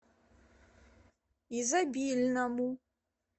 изобильному